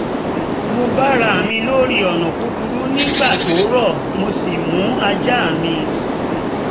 mo bára mi lórí ọ̀nà kúkúrú nígbà tó rọ̀ mo sì mú ajá mi